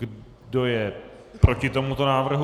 Kdo je proti tomuto návrhu?